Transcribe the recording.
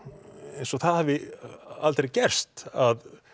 eins og það hafi aldrei gerst að